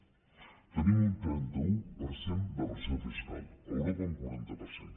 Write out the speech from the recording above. tenim un trenta un per cent de pressió fiscal a europa un quaranta per cent